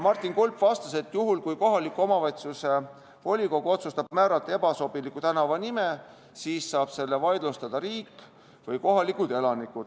Martin Kulp vastas, et juhul, kui kohaliku omavalitsuse volikogu otsustab määrata ebasobiva tänavanime, siis saavad seda vaidlustada riik või kohalikud elanikud.